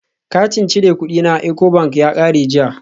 Katin cire kudi na Ecobank ya kare jiya